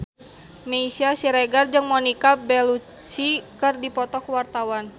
Meisya Siregar jeung Monica Belluci keur dipoto ku wartawan